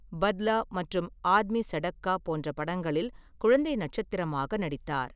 பத்லா மற்றும் ஆத்மி சடக்கா போன்ற படங்களில் குழந்தை நட்சத்திரமாக நடித்தார்.